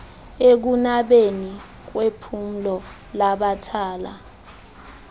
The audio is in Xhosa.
ekunabeni kwephulo lamathala